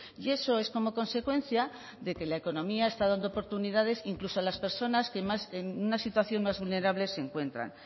y eso es como consecuencia de que la economía está dando oportunidades incluso a las personas que en una situación más vulnerable se encuentran